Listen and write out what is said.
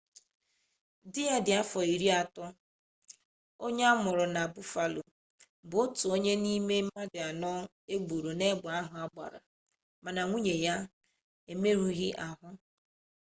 di ya dị afọ iri atọ onye a mụrụ na buffalo bụ otu onye n'ime mmadụ anọ e gburu n'egbe ahụ a gbara mana nwunye ya emerụghị ahụ